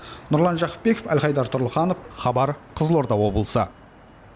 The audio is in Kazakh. нұрлан жақыпбеков альхайдар турлыханов хабар қызылорда облысы